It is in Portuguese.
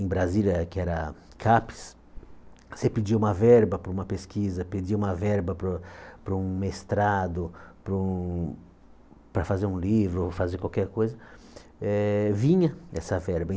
em Brasília, que era Capes, você pedia uma verba para uma pesquisa, pedia uma verba para um para um mestrado, para um para fazer um livro, ou fazer qualquer coisa, eh vinha essa verba.